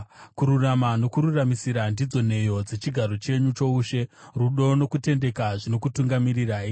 Kururama nokururamisira ndidzo nheyo dzechigaro chenyu choushe; rudo nokutendeka zvinokutungamirirai.